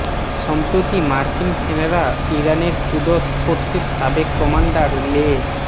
সম্প্রতি মার্কিন সেনারা ইরানের কুদস ফোর্সের সাবেক কমান্ডার লে